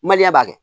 Maliyɛn b'a kɛ